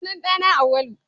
Sunan ɗa na Auwalu